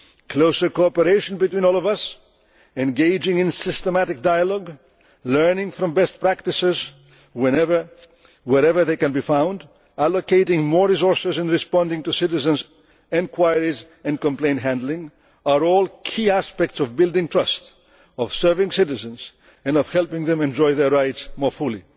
Closer cooperation between all of us, engaging in systematic dialogue, learning from best practices whenever and wherever they can be found, allocating more resources to responding to citizens' enquiries and complaint handling are all key aspects of building trust, of serving citizens and of helping them enjoy their rights more